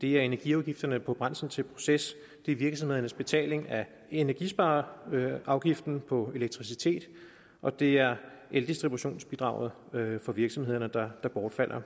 det er energiafgifterne på brændsel til proces det er virksomhedernes betaling af energispareafgiften på elektricitet og det er eldistributionsbidraget for virksomhederne der bortfalder